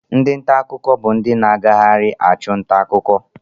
Ndi nta akụkọ bụ ndị na-agagharị achụ nta akụkọ